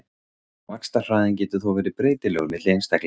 Vaxtarhraðinn getur þó verið breytilegur milli einstaklinga.